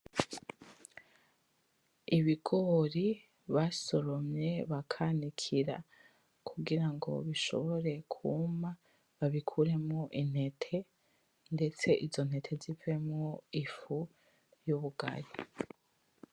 Ibigori basoromye bakanikira kugirango bishobore kwuma babikuremwo intete ndetse izo ntete zivemwo ifu yubugari